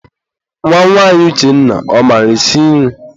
Nwa nwanyị Uchenna, ọ maara esi nri?